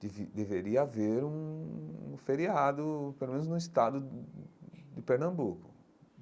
Deve deveria haver um feriado, pelo menos no estado de Pernambuco.